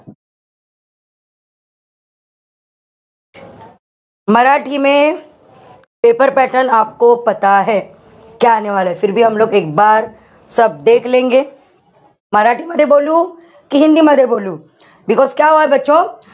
paper pattern मराठीमध्ये बोलू कि हिंदी मध्ये बोलू?